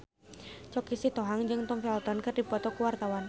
Choky Sitohang jeung Tom Felton keur dipoto ku wartawan